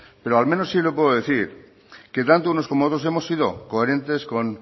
pero al menos sí le puedo decir que tanto unos como otros hemos sido coherentes con